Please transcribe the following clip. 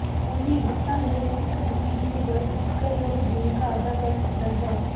ਕੌਮੀ ਹਿਤਾਂ ਲਈ ਸਿੱਖ ਬੁੱਧੀਜੀਵੀ ਵਰਗ ਜਿਕਰਯੋਗ ਭੂਮਿਕਾ ਅਦਾ ਕਰ ਸਕਦਾ ਹੈ